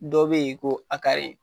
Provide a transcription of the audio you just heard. Dɔ bɛ yen ko a .